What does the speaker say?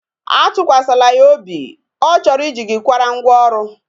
Atụkwasịla ya obi, ọ chọrọ I ji gi kwara ngwa ọrụ